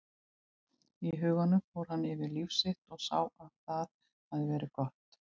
Og í huganum fór hann yfir líf sitt og sá að það hafði verið gott.